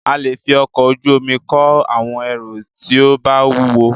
A lè fí ọkọ̀ ojú omi kó àwọn ẹrù tí o bá wúwo.